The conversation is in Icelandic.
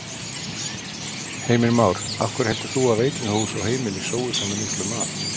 Heimir Már: Af hverju heldur þú að veitingahús og heimili sói svona miklum mat?